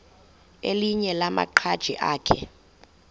elinye lamaqhaji akhe